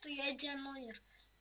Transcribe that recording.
дядя номер